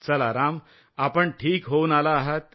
चला राम आपण ठीक होऊन आला आहात